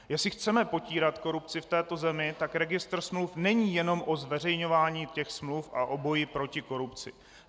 Jestli chceme potírat korupci v této zemi, tak registr smluv není jenom o zveřejňování těch smluv a o boji proti korupci.